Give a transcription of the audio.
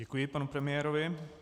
Děkuji panu premiérovi.